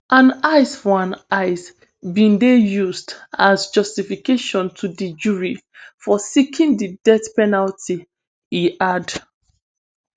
an eye for an eye bin dey used as justification to di jury for seeking di death penalty e add